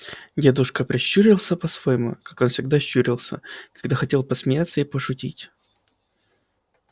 дедушка прищурился по-своему как он всегда щурился когда хотел посмеяться и пошутить